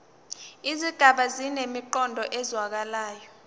izigaba zinemiqondo ezwakalayo